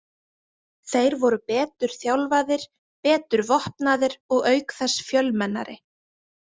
Þeir voru betur þjálfaðir, betur vopnaðir og auk þess fjölmennari.